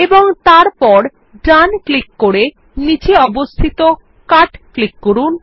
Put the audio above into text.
এবং তারপর right click করে নীচে অবস্থিত কাট ক্লিক করুন